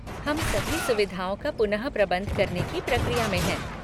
हम सभी सुविधाओं का पुनःप्रबंध करने की प्रक्रिया में हैं।